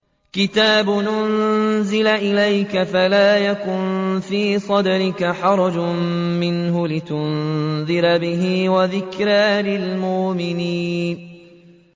كِتَابٌ أُنزِلَ إِلَيْكَ فَلَا يَكُن فِي صَدْرِكَ حَرَجٌ مِّنْهُ لِتُنذِرَ بِهِ وَذِكْرَىٰ لِلْمُؤْمِنِينَ